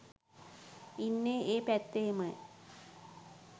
ඉන්නෙ ඒ පැත්තෙමයි.